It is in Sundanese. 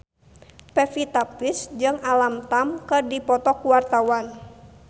Pevita Pearce jeung Alam Tam keur dipoto ku wartawan